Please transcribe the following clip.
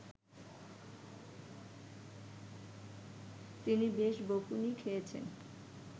তিনি বেশ বকুনি খেয়েছেন